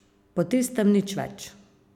Po tistem nič več.